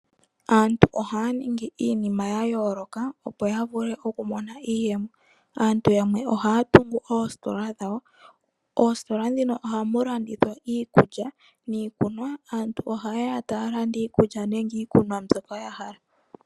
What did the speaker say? Aantu ohaya ningi iinima ya yoloka opo ya vule oku mona iiyemo. Aantu yamwe ohaya tungu oostola dhawo, oostola dhino ohamu landithwa iikulya niikunwa, aantu ohaye ya taya landa iikulya nenge iikunwa mbyoka ya hala.